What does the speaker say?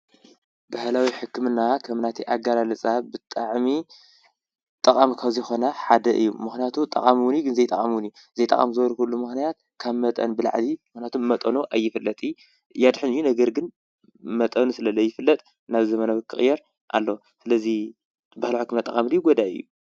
ባህላዊ ሕክምና ከም ናተይ ኣገላልጻ ብጣዕሚ ጠቃሚ ካብ ዝኾነ ሓደ እዩ። ጠቃሚ እዉን እዩ ዘይጠቃሚ እዉን እዩ። ዘይ ጠቃሚ ዝበልኩሉ ምክንያት ካብ መጠን ብላዕሊ መጠኑ ኣይፍለጥን የድሕን እዩ ነገር ግን መጠኑ ስለ ዘይፍለጥ ናብ ዘመናዊ ክቅየር ኣለዎ። ስለ'ዚ ባህላዊ ሕክምና ጠቃሚ ድዩ ጎዳኢ እዩ?